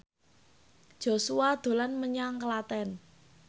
Joshua dolan menyang Klaten